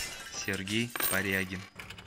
сергей порягин